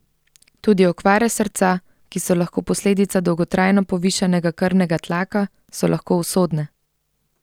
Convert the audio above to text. Tudi okvare srca, ki so lahko posledica dolgotrajno povišanega krvnega tlaka, so lahko usodne.